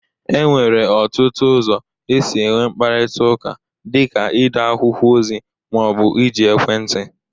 E nwere ọtụtụ ụzọ esi enwe mkparịtaụka. dị ka ide akwụkwọ ozi ma ọ bụ iji ekwentị.